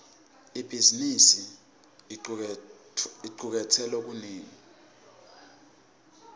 ibhizimisi icuketse lokunengi